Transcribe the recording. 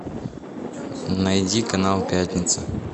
найди канал пятница